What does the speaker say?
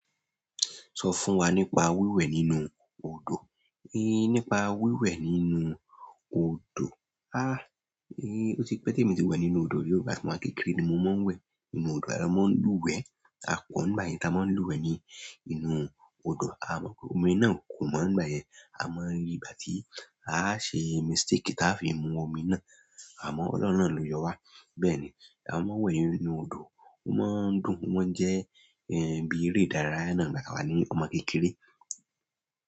Sọ fún wa nípa wíwẹ̀ nínú odò. Nípa wíwẹ̀ nínú odò. Ó ti pẹ́ tí mo témi ti wẹ̀ nínú odò rí o tí mo wà kékeré ni mo máa ń wẹ̀ nínú odò. Wón n lúwèe. Ṣùgbọ́n nígbà yen ta máa n lúwèe ní nínú odò a ò mò àmoye ìgbà tí àáṣe mistake táa fi mu omi náà, àmó ọlọ́ọ̀run náà ló yọ wá. Bẹ́ẹ̀ ni, a máa ń wẹ̀ nínú odò, ó máa ń dùn, ó máa ń jẹ́ bí eré ìdárayá náà nígbà ta wà ní ọmọ kékeré.